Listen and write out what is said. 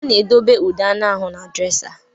A na-edobe ude anụ ahụ n'drésá.